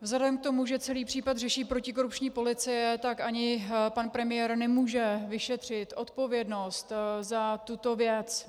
Vzhledem k tomu, že celý případ řeší protikorupční policie, tak ani pan premiér nemůže vyšetřit odpovědnost za tuto věc.